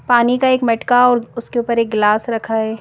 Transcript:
पानी का एक मटका और उसके ऊपर एक गिलास रखा है।